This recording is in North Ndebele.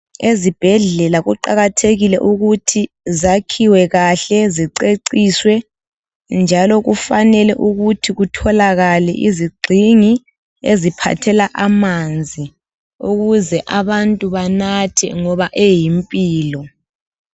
Izibhedlela kuqakathekile ukuthi zakhiwe kahle ziceciswe njalo kufanele ukuthi kutholakale izigxingi eziphathela amanzi ukuze abantu banathe ngoba eyimpilo.